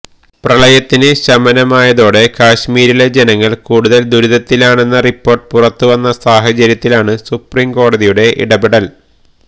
പ്രളയത്തിന് ശമനമായതോടെ കാശ്മീരിലെ ജനങ്ങള് കൂടുതല് ദുരിതത്തിലാണെന്ന റിപ്പോര്ട്ട് പുറത്തുവന്ന സാഹചര്യത്തിലാണ് സുപ്രീം കോടതിയുടെ ഇടപെടല്